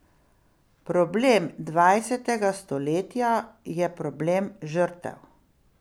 Problem dvajsetega stoletja je problem žrtev.